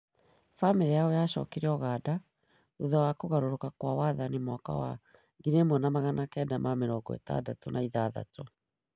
Famĩrĩ yao yaacokire Uganda thutha wa kũgarũrũka kwa wathani mwaka wa 1986.